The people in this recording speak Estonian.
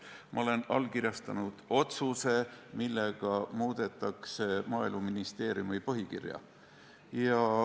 Ma olen allkirjastanud otsuse, millega muudetakse Maaeluministeeriumi põhikirja.